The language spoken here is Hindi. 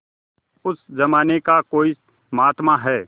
उस जमाने का कोई महात्मा है